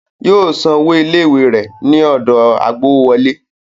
Yóò san owó ilé-ìwé rẹ̀ ní ọ̀dọ̀ agbowówọlé.